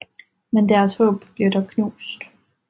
Men deres håb bliver dog knust